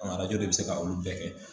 Arajo de bɛ se ka olu bɛɛ kɛ